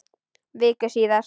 Viku síðar.